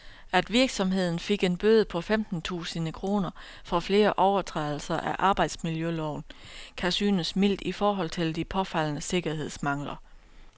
At virksomheden fik en bøde på femten tusinde kroner for flere overtrædelser af arbejdsmiljøloven, kan synes mildt i forhold til de påfaldende sikkerhedsmangler.